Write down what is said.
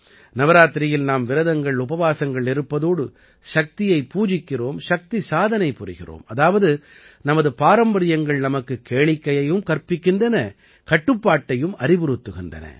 நவராத்திரியில் நாம் விரதங்கள்உபவாசங்கள் இருப்பதோடு சக்தியைப் பூஜிக்கிறோம் சக்திசாதனை புரிகிறோம் அதாவது நமது பாரம்பரியங்கள் நமக்குக் கேளிக்கையையும் கற்பிக்கின்றன கட்டுப்பாட்டையும் அறிவுறுத்துகின்றன